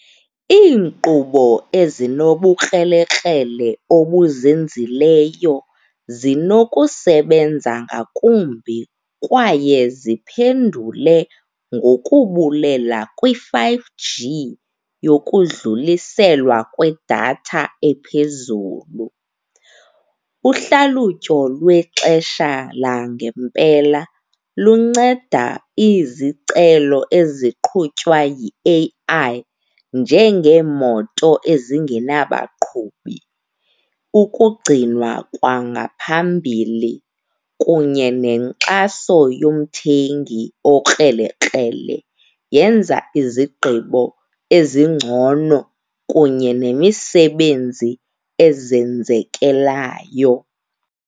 Iinkqubo ezinobukrelekrele obuzenzileyo zinokusebenza ngakumbi kwaye ziphendule ngokubulela kwi-five G nokudluliselwa kwedatha ephezulu. Uhlalutyo lwexesha langempela lunceda izicelo eziqhutywayo yi-A_I njengeemoto ezingenabaqhubi, ukugcinwa kwangaphambili kunye nenkxaso yomthengi okrelekrele. Yenza izigqibo ezingcono kunye nemisebenzi azenzekelayo.